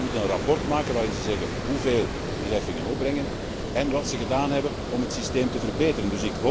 Lidstaten moeten een rapport maken waarin ze zeggen hoeveel die heffingen opbrengen en wat ze gedaan hebben om het systeem te verbeteren.